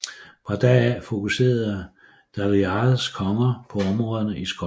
Fra da af fokuserede Dalriadas konger på områderne i Skotland